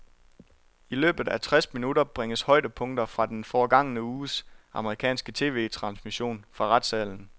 I løbet af tres minutter bringes højdepunkter fra den forgangne uges amerikanske TVtransmission fra retssalen.